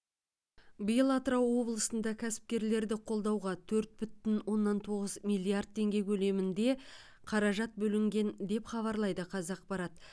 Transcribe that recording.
биыл атырау облысында кәсіпкерлерді қолдауға төрт бүтін оннан тоғыз миллиард теңге көлемінде қаражат бөлінген деп хабарлайды қазақпарат